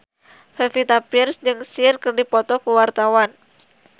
Pevita Pearce jeung Cher keur dipoto ku wartawan